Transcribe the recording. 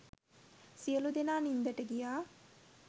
සියලු දෙනා නින්දට ගියා